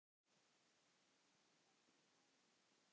Þetta lýsir dálítið eðli hennar.